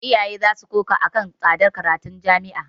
Iyaye za su koka a kan tsadar karatun jami'a.